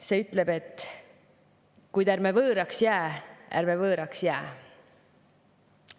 See ütleb: kuid ärme võõraks jää, ärme võõraks jää.